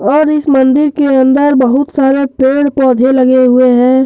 और इस मंदिर के अंदर बहुत सारे पेड़ पौधे लगे हुए हैं।